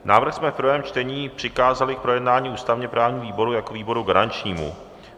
Návrh jsme v prvém čtení přikázali k projednání ústavně-právnímu výboru jako výboru garančnímu.